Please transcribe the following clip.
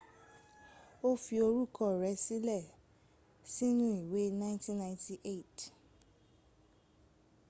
o fi orúkọ rẹ sílẹ̀ sínú ìwé 1998